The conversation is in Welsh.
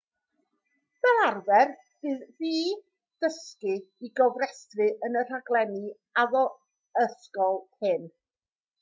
fel arfer bydd ffi dysgu i gofrestru yn y rhaglenni addysgol hyn